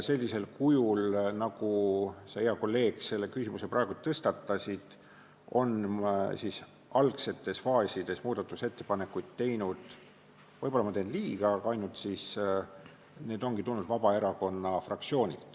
Sellisel kujul nagu sa, hea kolleeg, selle küsimuse tõstatasid, tegi algsetes faasides muudatusettepanekuid – võib-olla ma teen liiga – ainult Vabaerakonna fraktsioon.